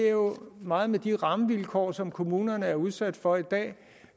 jo meget med de rammevilkår som kommunerne er udsat for i dag